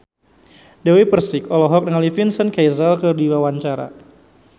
Dewi Persik olohok ningali Vincent Cassel keur diwawancara